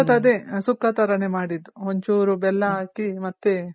ಸುಕ್ಕ ತರನೇ ಮಾಡಿದ್ದು. ಒಂಚೂರು ಬೆಲ್ಲ ಹಾಕಿ ಮತ್ತೆ